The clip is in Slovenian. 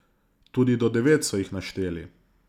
Tudi do devet so jih našteli.